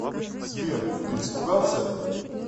сбер ты испугался